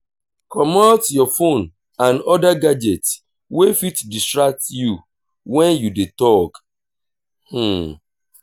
comot your phone and other gadget wey fit distract you when you dey talk